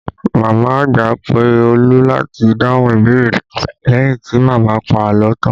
Màmá àgbà pé Olu láti dáhùn ìbéèrè leyin ti màmá pa àlọ́ tan